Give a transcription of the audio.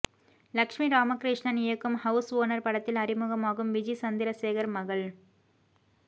லஷ்மி ராமகிருஷ்ணன் இயக்கும் house owner படத்தில் அறிமுகமாகும் விஜி சந்திரசேகர் மகள்